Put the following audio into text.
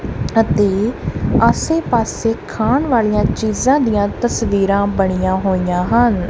ਅਤੇ ਆਸੇ ਪਾਸੇ ਖਾਣ ਵਾਲੀਆਂ ਚੀਜ਼ਾਂ ਦੀਆਂ ਤਸਵੀਰਾਂ ਬਣੀਆਂ ਹੋਈਆਂ ਹਨ।